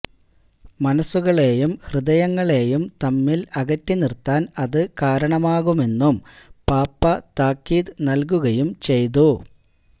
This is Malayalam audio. മനസുകളെയും ഹൃദയങ്ങളെയും തമ്മിൽ അകറ്റി നിർത്താൻ അത് കാരണമാകുമെന്നും പാപ്പ താക്കീത് നൽകുകയും ചെയ്തു